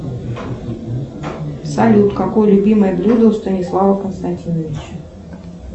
салют какое любимое блюдо у станислава константиновича